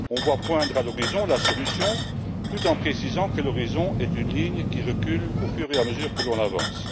On voit poindre à l'horizon la solution, tout en précisant que l'horizon est une ligne qui recule au fur et à mesure que l'on avance.